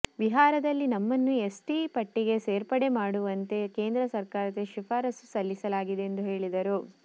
ಬಿಹಾರದಲ್ಲಿ ನಮ್ಮನ್ನು ಎಸ್ಟಿ ಪಟ್ಟಿಗೆ ಸೇರ್ಪಡೆ ಮಾಡುವಂತೆ ಕೇಂದ್ರ ಸರಕಾರಕ್ಕೆ ಶಿಫಾರಸ್ಸು ಸಲ್ಲಿಸಲಾಗಿದೆ ಎಂದು ಹೇಳಿದರು